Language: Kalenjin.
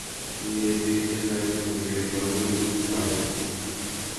Kiatuyee bik che chang kokere walutik kwai